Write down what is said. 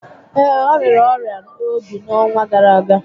Ee, ọ rịara ọrịa óbì n'ọnwa gárá ágá